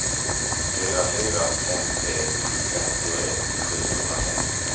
fyra fyra fem tre femtioett sjuhundrafemtio